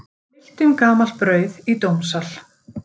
Deilt um gamalt brauð í dómssal